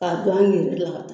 K'a don an yɛrɛ la